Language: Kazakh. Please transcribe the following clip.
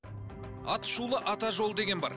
атышулы ата жолы деген бар